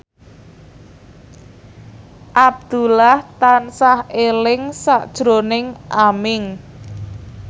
Abdullah tansah eling sakjroning Aming